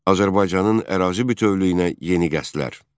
Azərbaycanın ərazi bütövlüyünə yeni qəsdlər.